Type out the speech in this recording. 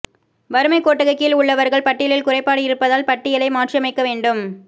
வறுமைக் கோட்டுக்கு கீழ் உள்ளவா்கள் பட்டியலில் குறைபாடு இருப்பதால் பட்டியலை மாற்றியமைக்க வேண்டும்